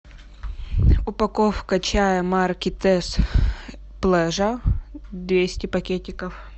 упаковка чая марки тесс плежа двести пакетиков